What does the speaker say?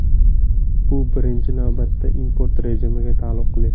Bu birinchi navbatda import rejimiga taalluqli.